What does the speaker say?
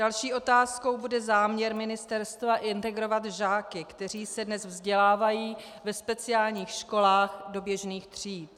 Další otázkou bude záměr ministerstva integrovat žáky, kteří se dnes vzdělávají ve speciálních školách, do běžných tříd.